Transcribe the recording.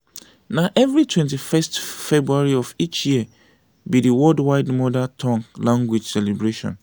na every 21st february of each year be dey worldwide mother tongue language celebration.